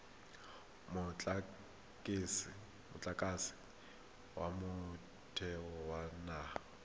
motlakase wa motheo wa mahala